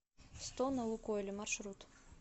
сто на лукойле маршрут